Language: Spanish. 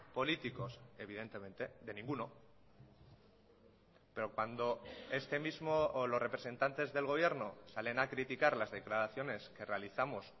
políticos evidentemente de ninguno pero cuando este mismo o los representantes del gobierno salen a criticar las declaraciones que realizamos